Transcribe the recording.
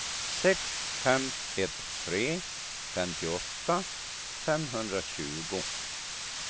sex fem ett tre femtioåtta femhundratjugo